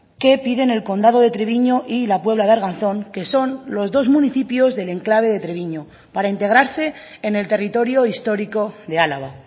que pide en el condado de treviño y la puebla de arganzón que son los dos municipios del enclave de treviño para integrarse en el territorio histórico de álava